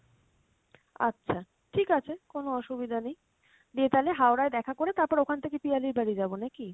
আচ্ছা ঠিক আছে কোনো অসুবিধা নেই, দিয়ে তাহলে Howrah য় দেখা করে তারপর ওখান থেকে পিয়ালির বাড়ি যাবো নাকি?